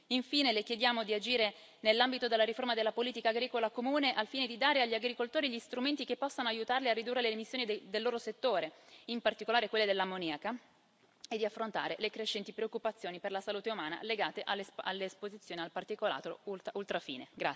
Infine, le chiediamo di agire nell'ambito della riforma della politica agricola comune, al fine di dare agli agricoltori gli strumenti che possano aiutarli a ridurre le emissioni del loro settore, in particolare quelle dell'ammoniaca, e di affrontare le crescenti preoccupazioni per la salute umana legate all'esposizione al particolato ultrafine.